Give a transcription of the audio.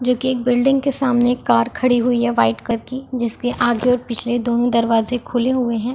जोकि एक बिल्डिंग के सामने एक कार खड़ी हुई है वाइट कलर की जिसके आगे और पिछले दोनों दरवाजे खुले हुए है।